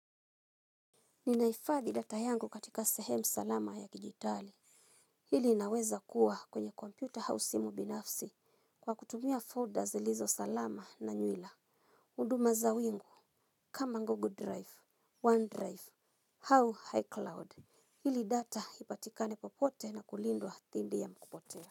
Ninahifadhi data yangu katika sehemu salama ya kidijitali. Hili inaweza kuwa kwenye kompyuta au simu binafsi kwa kutumia folda zilizo salama na nywila huduma za wimbo kama Google Drive, OneDrive au iCloud ili data ipatikane popote na kulindwa dhidi ya kupotea.